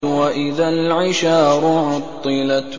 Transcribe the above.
وَإِذَا الْعِشَارُ عُطِّلَتْ